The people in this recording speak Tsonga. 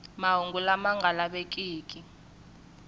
mahungu lama nga lavekiki lama